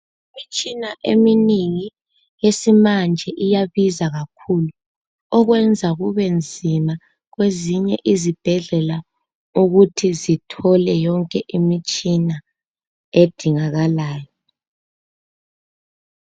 Imitshina eminengi yesimanje iyabiza kakhulu okwenza kube nzima kwezinye izibhedlela ukuthi zithole yonke imitshina edingakalayo.